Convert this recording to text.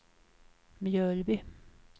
Mjölby